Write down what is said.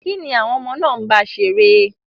Kín ni àwọn ọmọ náà ń bá ṣeré?